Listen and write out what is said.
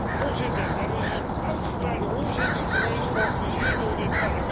Er is een uitgebreide hoorzitting geweest, georganiseerd door dit Parlement.